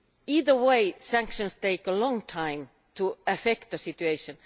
Either way, sanctions take a long time to affect the situation.